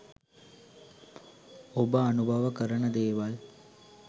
ඔබ අනුභව කරන දේවල්